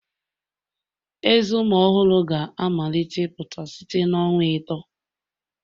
Ezé ụmụ ọhụrụ ga-amalite ịpụta site na ọnwa atọ